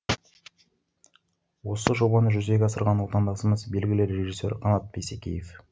осы жобаны жүзеге асырған отандасымыз белгілі ресжиссер қанат бейсекеев